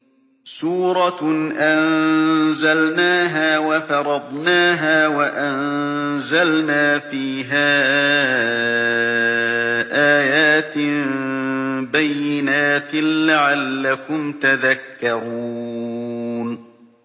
سُورَةٌ أَنزَلْنَاهَا وَفَرَضْنَاهَا وَأَنزَلْنَا فِيهَا آيَاتٍ بَيِّنَاتٍ لَّعَلَّكُمْ تَذَكَّرُونَ